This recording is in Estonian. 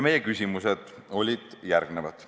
Meie küsimused olid järgmised.